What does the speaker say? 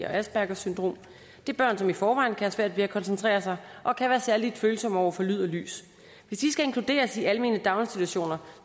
og aspergers syndrom det er børn som i forvejen kan have svært ved at koncentrere sig og kan være særlig følsomme over for lyd og lys hvis de skal inkluderes i almene daginstitutioner